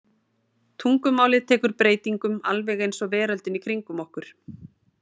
Tungumálið tekur breytingum alveg eins og veröldin í kringum okkur.